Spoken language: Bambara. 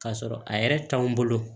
K'a sɔrɔ a yɛrɛ t'anw bolo